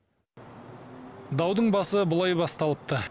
даудың басы былай басталыпты